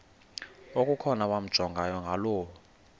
okukhona wamjongay ngaloo